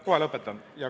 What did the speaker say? Kohe lõpetan.